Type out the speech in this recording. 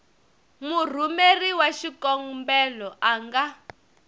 murhumeri wa xikombelo a nga